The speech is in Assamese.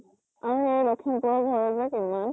আৰু এই লক্ষীমপুৰৰ ঘৰৰ যে